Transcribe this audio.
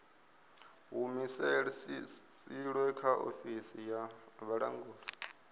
humusilwe kha ofisi ya vhulanguli